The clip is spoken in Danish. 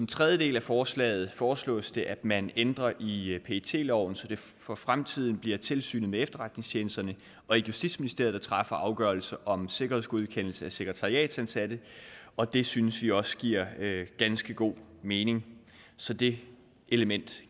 tredje del af forslaget foreslås det at man ændrer i i pet loven så det for fremtiden bliver tilsynet med efterretningstjenesterne og ikke justitsministeriet der træffer afgørelse om sikkerhedsgodkendelse af sekretariatsansatte og det synes vi også giver ganske god mening så det element